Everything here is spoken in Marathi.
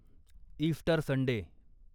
Easter Sunday